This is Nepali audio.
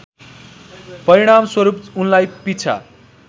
परिणामस्वरूप उनलाई पिछा